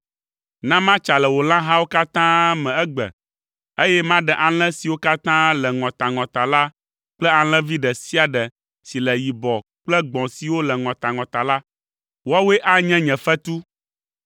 Na matsa le wò lãhawo katã me egbe, eye maɖe alẽ siwo katã le ŋɔtaŋɔta la kple alẽvi ɖe sia ɖe si le yibɔ kple gbɔ̃ siwo le ŋɔtaŋɔta la. Woawoe anye nye fetu.